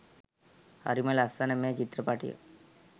හරිම ලස්සන මේ චිත්‍රපටිය